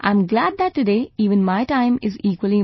I am glad that today, even my time is equally important